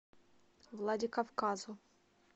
владикавказу